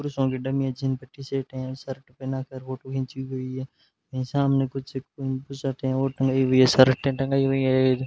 पुरुषों की डमीयां जिन पे टी शर्टें हैं और शर्ट पहना कर फोटो घिंची हुई है यहां सामने कुछ बुशर्टें और टंगाई हुई हैं शर्टें टंगाई हुई है।